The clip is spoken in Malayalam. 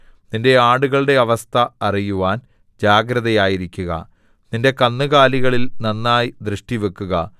നിന്റെ ആടുകളുടെ അവസ്ഥ അറിയുവാൻ ജാഗ്രതയായിരിക്കുക നിന്റെ കന്നുകാലികളിൽ നന്നായി ദൃഷ്ടിവക്കുക